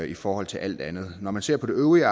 i forhold til alt andet når man ser på det øvrige